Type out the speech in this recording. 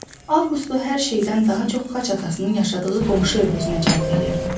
Avqustu hər şeydən daha çox xaç atasının yaşadığı qonşu ev özünə cəlb eləyirdi.